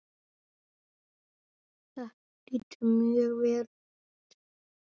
Þetta lítur mjög vel út.